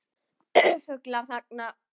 Fuglar þagna.